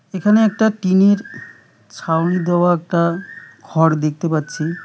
এখানে একটা টিনের ছাউনি দেওয়া একটা ঘর দেখতে পাচ্ছি।